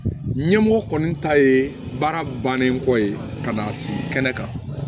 Ɲɛmɔgɔ kɔni ta ye baara bannen kɔ ye ka na sigi kɛnɛ kan